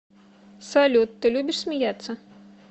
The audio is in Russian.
салют ты любишь смеяться